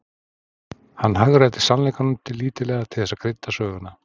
Hann hagræddi sannleikanum lítillega til þess að krydda söguna.